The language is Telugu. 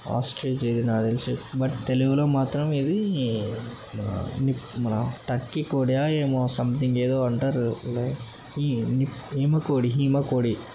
ఆస్ట్రిచ్ ఇది నాకు తెలిసి బట్ తెలుగులో మాత్రం ఇది-ది ఆ నిప్ మన టర్కీ కోడియా ఏమో సంథింగ్ ఏదో అంటారు హీ నిప్ హిమ కోడి హిమ కోడి.